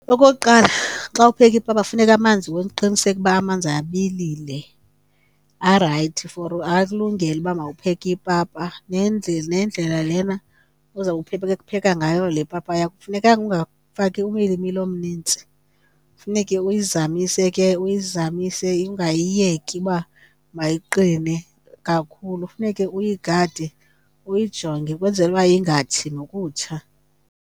Okokuqala, xa upheka ipapa funeka amanzi uqiniseke uba amanzi abilile, arayithi for alungele uba mawupheke ipapa. Nendlela lena uzawupheka ngayo le papa yakho akufunekanga ungafaki umilimili omnintsi. Funeke uyizamise ke, uyizamise ungayiyeki uba mayiqine kakhulu. Funeke uyigade uyijonge kwenzela uba ingatshi nokutsha.